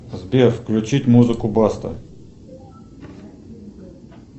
сбер включить музыку баста